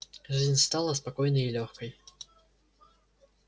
жизнь стала спокойной и лёгкой